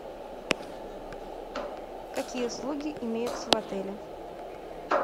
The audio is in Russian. какие услуги имеются в отеле